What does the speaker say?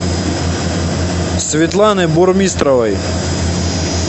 светланы бурмистровой